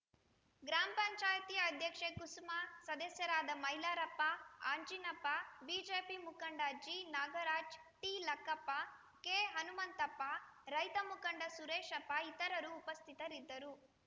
ಗ್ರಾಮ ಪಂಚಾಯಿತಿ ಅಧ್ಯಕ್ಷೆ ಕುಸುಮ ಸದಸ್ಯರಾದ ಮೈಲಾರಪ್ಪ ಅಂಜಿನಪ್ಪ ಬಿಜೆಪಿ ಮುಖಂಡ ಜಿನಾಗರಾಜ ಟಿಲಕ್ಕಪ್ಪ ಕೆಹನುಮಂತಪ್ಪ ರೈತ ಮುಖಂಡ ಸುರೇಶಪ್ಪ ಇತರರು ಉಪಸ್ಥಿತರಿದ್ದರು